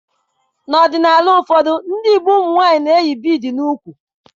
N'ọdịnala ụfọdụ ndị Igbo, ụmụnwaanyị na-eyi bịịdii n'úkwù.